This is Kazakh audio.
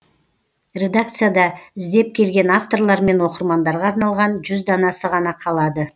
редакцияда іздеп келген авторлар мен оқырмандарға арналған жүз данасы ғана қалады